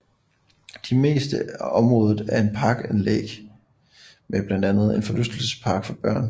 De meste af området er et parkanlæg med blandt andet en forlystelsespark for børn